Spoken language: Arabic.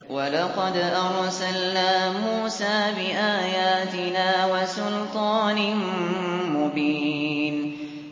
وَلَقَدْ أَرْسَلْنَا مُوسَىٰ بِآيَاتِنَا وَسُلْطَانٍ مُّبِينٍ